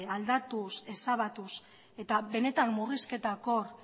aldatuz ezabatuz eta benetan murrizketak hor